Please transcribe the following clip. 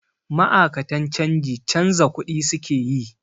Ma'akatan canji canza kuɗi su ke yi.